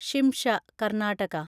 Shimsha (Karnataka)